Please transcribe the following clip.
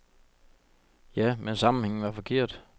Ja, men sammenhængen var forkert.